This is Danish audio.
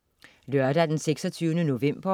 Lørdag den 26. september